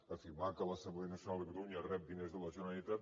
afirmar que l’assemblea nacional de catalunya rep diners de la generalitat